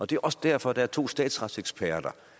det er også derfor at der er to statsretseksperter